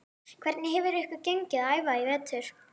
Hvernig hefur ykkur gengið að æfa í vetur?